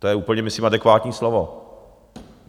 To je úplně myslím adekvátní slovo.